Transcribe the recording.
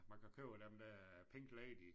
Man kan købe dem der Pink Lady